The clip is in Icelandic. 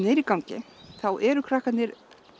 er í gangi þá eru krakkarnir